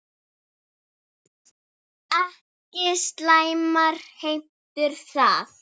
Ekki slæmar heimtur það.